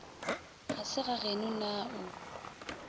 ga se gageno na o